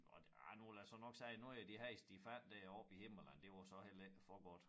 Og ah nu vil jeg jo så nok sige nogle af de heste de fandt deroppe i Himmerland det var så heller ikke for godt